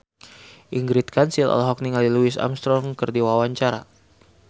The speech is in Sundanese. Ingrid Kansil olohok ningali Louis Armstrong keur diwawancara